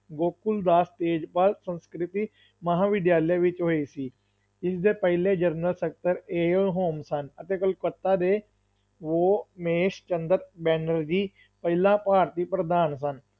ਗੋਕੁਲਦਾਸ ਤੇਜਪਾਲ ਸੰਸਕ੍ਰਿਤੀ ਮਹਾਂਵਿਦਿਆਲਾ ਵਿੱਚ ਹੋਈ ਸੀ, ਇਸ ਦੇ ਪਹਿਲੇ ਜਨਰਲ ਸਕੱਤਰ AO ਹਿਊਮ ਸਨ ਅਤੇ ਕੋਲਕਾਤਾ ਦੇ ਵੋਮੇਸ਼ ਚੰਦਰ ਬੈਨਰਜੀ ਪਹਿਲਾ ਪਾਰਟੀ ਪ੍ਰਧਾਨ ਸਨ,